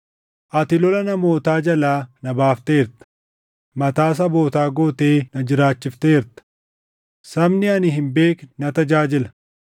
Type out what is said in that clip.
“Ati lola namootaa jalaa na baafteerta; mataa sabootaa gootee na jiraachifteerta. Sabni ani hin beekne na tajaajila;